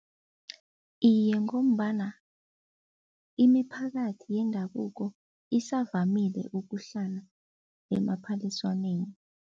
Iye ngombana imiphakathi yendabuko isavamile ukuhlala emaphaliswaneni.